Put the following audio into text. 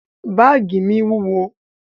Báàgì mi wúwo.